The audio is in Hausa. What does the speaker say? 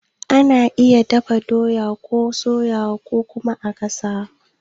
Ana iya dafa doya ko a soyawa ko kuma a gasawa.